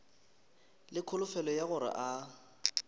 le kholofelo ya gore a